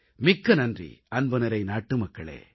மிக்க நன்றி அன்புநிறை நாட்டுமக்களே